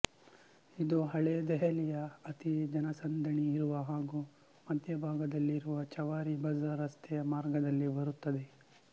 ಇದು ಹಳೆ ದೆಹಲಿಯ ಅತಿ ಜನಸಂದಣಿ ಇರುವ ಹಾಗೂ ಮಧ್ಯಭಾಗದಲ್ಲಿರುವ ಚವಾರಿ ಬಜಾರ್ ರಸ್ತೆಯ ಮಾರ್ಗದಲ್ಲಿ ಬರುತ್ತದೆ